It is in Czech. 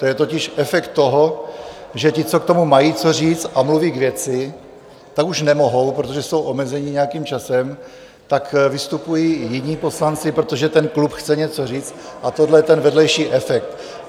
To je totiž efekt toho, že ti, co k tomu mají co říct a mluví k věci, tak už nemohou, protože jsou omezeni nějakým časem, tak vystupují jiní poslanci, protože ten klub chce něco říct, a toto je ten vedlejší efekt.